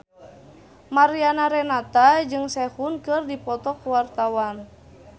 Mariana Renata jeung Sehun keur dipoto ku wartawan